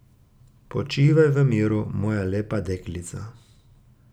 Počivaj v miru, moja lepa deklica.